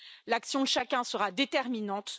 L'action de chacun sera déterminante.